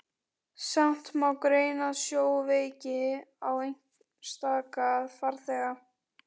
Samt má greina sjóveiki á einstaka farþega.